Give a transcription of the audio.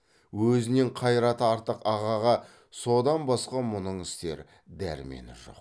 өзінен қайраты артық ағаға содан басқа мұның істер дәрмені жоқ